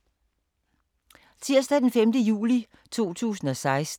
Tirsdag d. 5. juli 2016